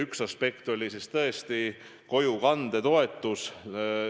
Üks aspekte oli tõesti kojukandetoetus.